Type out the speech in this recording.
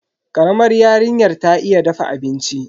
Karamar yarinyar ta iya dafa abinci.